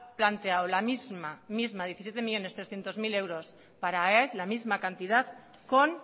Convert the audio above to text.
planteado la misma misma diecisiete millónes trescientos mil euros para aes la misma cantidad con